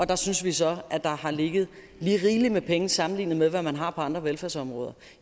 der synes vi så at der har ligget lige rigeligt med penge sammenlignet med det man har på andre velfærdsområder